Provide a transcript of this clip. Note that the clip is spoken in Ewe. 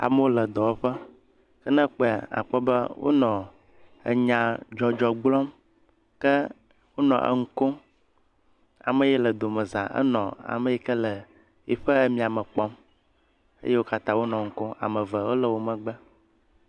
Amewo le dɔwɔƒe. Ne ekpɔe akpɔ be wonɔ nyadzɔdzɔ gblɔm ke wonɔ enu kom. Ame yie le domeza enɔ ame yi ke le yiƒe miame kpɔm ye wo katã wo enu kom.